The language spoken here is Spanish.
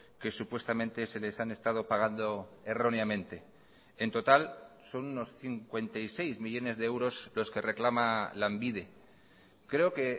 que supuestamente se les han estado pagando erróneamente en total son unos cincuenta y seis millónes de euros los que reclama lanbide creo que